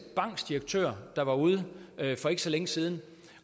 banks direktør der var ude for ikke så længe siden